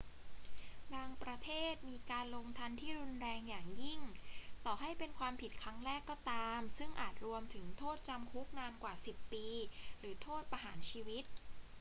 บางประเทศมีการลงทัณฑ์ที่รุนแรงอย่างยิ่งต่อให้เป็นความผิดครั้งแรกก็ตาม ซึ่งอาจรวมถึงโทษจำคุกนานกว่า 10 ปี หรือโทษประหารชีวิต